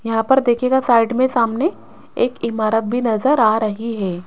यहां पर देखिएगा साइड में सामने एक इमारत भी नजर आ रही है।